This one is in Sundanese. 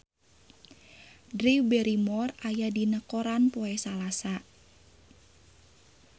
Drew Barrymore aya dina koran poe Salasa